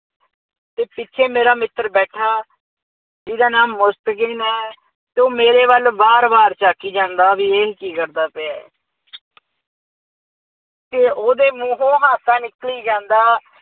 ਅਤੇ ਪਿੱਛੇ ਮੇਰਾ ਮਿੱਤਰ ਬੈਠਾ ਜਿਹਦਾ ਨਾਮ ਮੁਸਤਗੀਨ ਹੈ ਜੋ ਮੇਰੇ ਵੱਲ ਵਾਰ-ਵਾਰ ਝਾਕੀ ਜਾਂਦਾ ਬਈ ਇਹ ਕੀ ਕਰਦਾ ਪਿਆ। ਅਤੇ ਉਹਦੇ ਮੂੰਹੋਂ ਹਾਸਾ ਨਿਕਲੀ ਜਾਂਦਾ